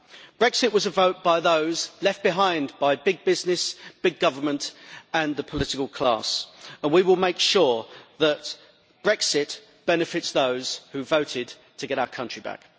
Brexit was a vote by those left behind by big business, big government and the political class and we will make sure that Brexit benefits those who voted to get our country back.